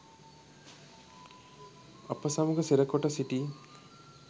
අප සමග සිරකොට සිටි